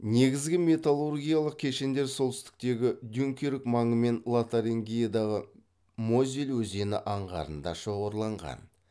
негізгі металлургиялық кешендер солтүстіктегі дюнкерк маңы мен лотарингиядағы мозель өзені аңғарында шоғырланған